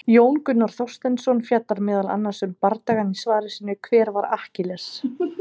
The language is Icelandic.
Jón Gunnar Þorsteinsson fjallar meðal annars um bardagann í svari sínu, Hver var Akkiles?